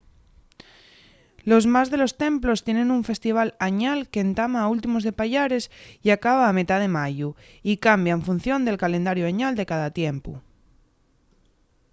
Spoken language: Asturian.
los más de los templos tienen un festival añal qu’entama a últimos de payares y acaba a metá de mayu y cambia en función del calendariu añal de cada templu